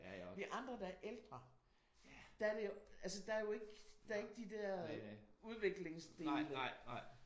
Vi andre der er ældre der er det jo altså der er jo ikke der er ikke de der udviklingsdele